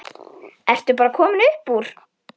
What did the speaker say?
Ertu bara komin upp úr?